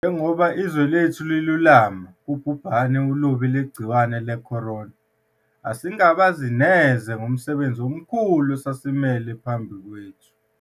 Njengoba izwe lethu lilulama kubhubhane olubi lwegciwane le-corona, asingabazi neze ngomsebenzi omkhulu osasimele phambi kwethu.